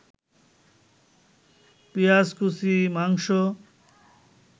পেঁয়াজকুচি, মাংস